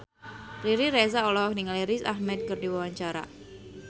Riri Reza olohok ningali Riz Ahmed keur diwawancara